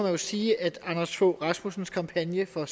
jo sige at anders fogh rasmussens kampagne for